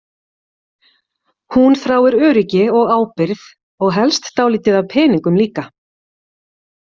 Hún þráir öryggi og ábyrgð, og helst dálítið af peningum líka.